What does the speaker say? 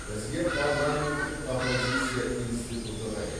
бізге парламенттік оппозиция институты қажет